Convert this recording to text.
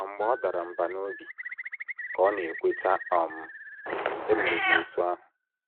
“ Ma mgbe ọ dara mbà n’obi, ” ka ọ na - ekweta um, “ emere m otú ahụ.